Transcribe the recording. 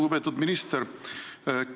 Lugupeetud minister!